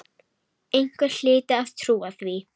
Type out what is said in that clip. Einhver hlyti að trúa því.